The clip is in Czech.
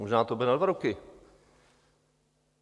Možná to bude na dva roky.